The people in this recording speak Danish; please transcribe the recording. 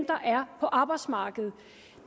der er på arbejdsmarkedet